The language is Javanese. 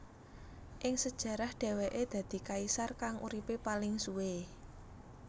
Ing sejarah dheweke dadi kaisar kang uripe paling suwe